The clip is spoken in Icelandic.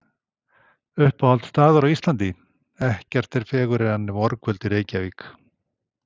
Uppáhalds staður á Íslandi: Ekkert er fegurra en vorkvöld í Reykjavík